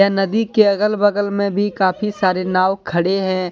यह नदी के अगल बगल में भी काफी सारे नाव खड़े हैं।